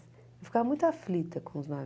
Eu ficava muito aflita com os nomes.